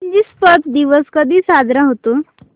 Egypt दिवस कधी साजरा होतो